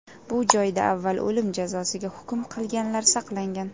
Bu joyda avval o‘lim jazosiga hukm qilinganlar saqlangan.